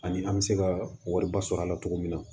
Ani an bɛ se ka wariba sɔrɔ a la cogo min na